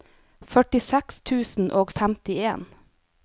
førtiseks tusen og femtien